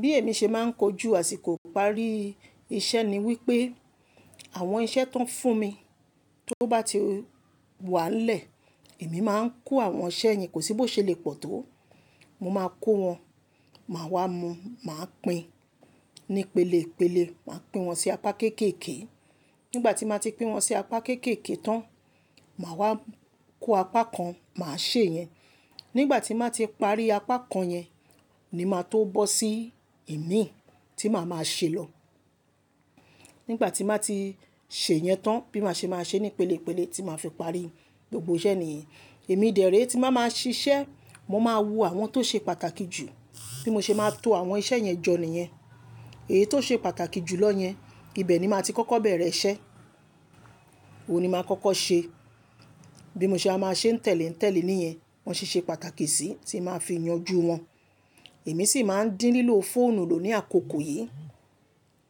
Bí èmi ṣe máa ń kojú àsìkò ìparí iṣẹ́ ni wípé àwọn iṣẹ́ tó ń fún mi tó bá ti wà ńlẹ̀, èmi máa ń kó àwọn iṣẹ́ yẹn, kò sí bó ṣe lè pọ̀ tó. Mo máa kó wọn, màá wá mu, màá pín ní ìpele ìpele, màá pín wọn sí apá kéékèèké. Nígbà tí mo ti pín wọn sí apá kéékèèké tán, màá wá kó apá kan, màá ṣe yẹn. Nígbà tí màá ti parí apá kan yẹn ni màá tó bọ́ sí ìmíi tí màá máa ṣe lọ. Nígbà tí màá ti ṣe yẹn tán bí màá ṣe máa ṣe ní ìpele ìpele tí màá fi parí gbogbo iṣẹ́ nìyẹn. Èmi dẹ̀ré tí màá máa ṣe iṣẹ́, mo máa wo àwọn tó ṣe pàtàkì jù bí mo ṣe máa to àwọn iṣẹ́ yẹn jọ níyẹn. Èyí tó ṣe pàtàkì jù lọ yẹn ibẹ̀ ni màá ti kọ́kọ́ bẹ̀rẹ̀ iṣẹ́, òun ni màá kọ́kọ́ ṣe. Bí mo ṣe á máa ṣe ń tẹ̀lé ń tẹ̀lé níyẹn, wọn sì ṣe pàtàkì sí tí màá fi yanjú wọn. Èmi sì máa ń dín lílo fóònù lò ní àkókò yìí.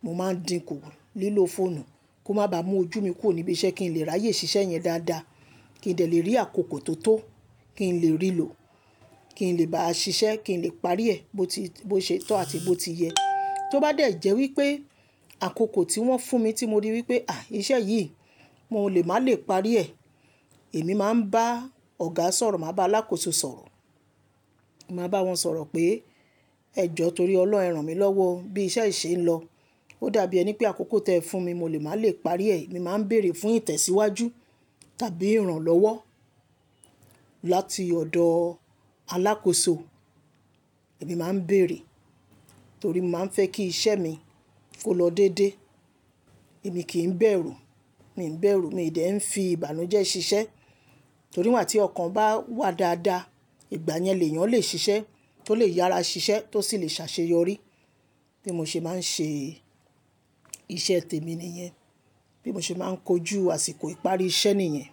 Mo máa ń dínkù lílo fóònù kó má ba mú ojú mi kù níbi iṣẹ́ kí n lè ráyè ṣiṣẹ́ yẹn dáadáa, kí n dẹ̀ lè rí àkókò tó tó, kí n lè rí lò, kí n lè bá ṣiṣẹ́, kí n lè parí ẹ̀ bó ṣe tọ́ àti bó ti yẹ. Tó bá dẹ̀ jẹ́ wípé àkókò tí wọ́n fún mi tí mo rí wípé, àí iṣẹ́ yìí mo lè má lè parí ẹ̀, èmi máa ń bá ọ̀gá sọ̀rọ̀, màá bá alákòóso sọ̀rọ̀. Màá bá wọn sọ̀rọ̀ pé ẹ jọ torí ọlọhun ẹ ran mi lọ́wọ́ bí iṣẹ́ yìí ṣe ń lọ, ó dàbí ẹni pé àkókò tí ẹ fún mi mo lè má lè parí ẹ̀. Èmi máa ń bèèrè fún ìtẹ̀síwájú tàbí ìrànlọ́wọ́ láti ọ̀dọ̀ alákòóso. Èmi máa ń bèèrè torí mo máa ń fẹ́ kí iṣẹ́ mi kó lọ dédé. Èmi kì í bẹ̀rù, mi ò ń bẹ̀rù, mi ò dẹ̀ ń fi ìbànújẹ́ ṣiṣẹ́ torí wà tí ọkàn bá wà dáadáa, ìgbà yẹn èèyàn lè ṣiṣẹ́ tó lè yára ṣiṣẹ́ tó sì lè ṣaṣeyọrí. Bí mo ṣe máa ń ṣe iṣẹ́ tèmi nìyen. Bí mo ṣe máa ń kojú àsìkò ìparí iṣẹ́ nìyen.